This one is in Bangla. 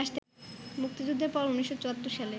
মুক্তিযুদ্ধের পর ১৯৭৪ সালে